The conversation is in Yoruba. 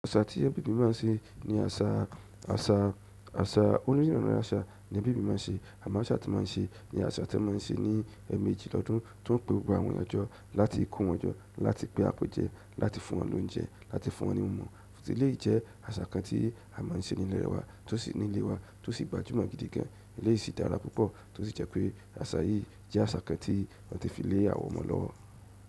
Àṣà tí ẹbí mi máa ń ṣe ni àṣà, àṣà, àṣà oníruru àṣà ní ẹbí mi máa ń ṣe. Àmọ́ aṣa tí wọ́n máa ń ṣe ni àṣà tí wọ́n máa ń ṣe ní ẹmẹji lọ́dún tó ń pe gbogbo àwọn eeyan jọ́ láti ko wọ̀n jọ́ láti pé àpe jẹ, láti fún wọn lóúnjẹ, láti fún wọn ní ohun mimu tì eleyi jẹ́ àṣà kan tí à ń ṣe nínú ilẹ̀ wa, tó sì ní ilé wa, tó sì gbajúmọ̀ gidi gan. Eléyí sì dára púpọ̀, tó sì jẹ́ pé àṣà yìí jẹ́ àṣà kan tí wọ́n ti fi lé àwọn ọmọ lọ́wọ́.